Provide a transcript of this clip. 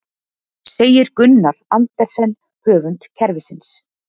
Segir Gunnar Andersen höfund kerfisins